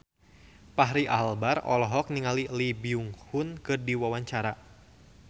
Fachri Albar olohok ningali Lee Byung Hun keur diwawancara